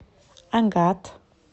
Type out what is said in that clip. агат